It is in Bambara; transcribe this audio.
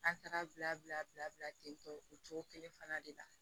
An taara bila bila ten tɔ o cogo kelen fana de la